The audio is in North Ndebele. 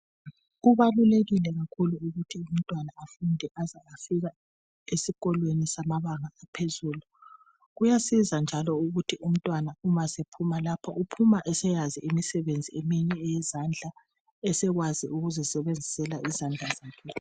Kubalulekile kakhulu ukuthi umntwana afunde aze afike esikolo samabanga aphezulu. Kuyasiza njalo ukuthi umntwana uphuma lapha eseyazi eminye imsebenzi eyezandla esekwazi ukuzisebenzisela izandla zakhe.